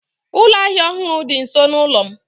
Ụlọ ahịa ọhụrụ dị nso n'ụlọ m.